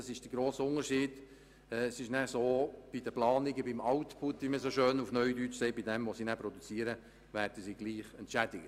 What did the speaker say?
Bei den Planungen oder dem Output, wie man dies neudeutsch nennt, werden diese gleich entschädigt.